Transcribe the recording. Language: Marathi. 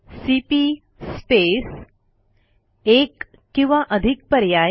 सीपी स्पेस एक किंवा अधिक पर्याय